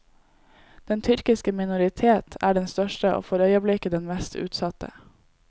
Den tyrkiske minoritet er den største og for øyeblikket den mest utsatte.